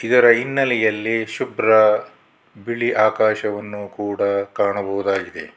ಇದರ ಹಿನ್ನೆಲೆಯಲ್ಲಿ ಶುಭ್ರ ಬಿಳಿ ಆಕಾಶವನ್ನು ಕೂಡ ಕಾಣಬಹುದಾಗಿದೆ.